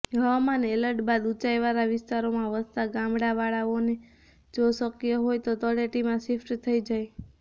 હવામાન એલર્ટ બાદ ઊંચાઇવાળા વિસ્તારોમાં વસતા ગામવાળાઓને જો શકય હોય તો તળેટીમાં શિફ્ટ થઇ જાય